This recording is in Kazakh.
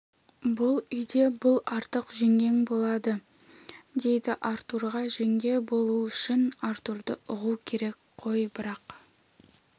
бұл үйде бұл артық жеңгең болады дейді артурға жеңге болу үшін артурды ұғу керек қой бірақ